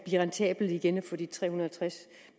rentabelt igen og så de tre hundrede og tres